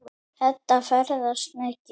Edda ferðast mikið.